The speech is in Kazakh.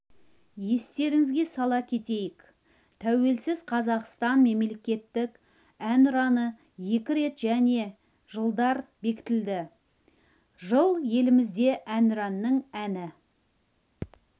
естеріңізге сала кетейік тәуелсіз қазақстанның мемлекеттік әнұраны екі рет және жылдары бекітілді жылы елімізде әнұранның әні